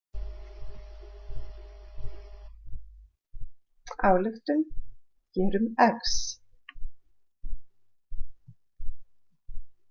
Ályktun: gerum „x“.